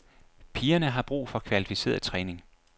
Pigerne har brug for kvalificeret træning.